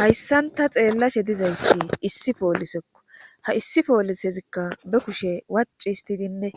Hayssanta xeellashe dizayssi issi poolisekko ha issi poolisezikka be kushe waci histidinne